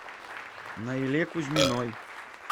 наиле кузьминой